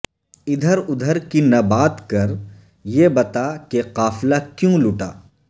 ادھر ادھر کی نہ بات کر یہ بتا کہ قافلہ کیوں لٹا